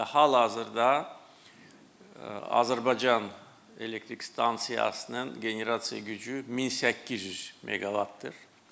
Və hal-hazırda Azərbaycan Elektrik Stansiyasının generasiya gücü 1800 meqavatdır.